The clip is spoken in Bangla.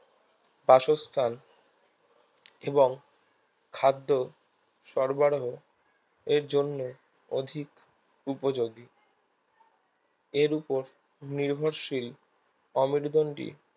বাসস্থান এবং খাদ্য সরবরাহ এর জন্যে অধিক উপযোগী এর উপর নির্ভরশীল অমেরুদন্ডী